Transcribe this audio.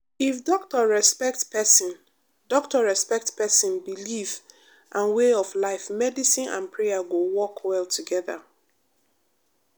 if doctor respect person doctor respect person belief and way of life medicine and prayer go work well together.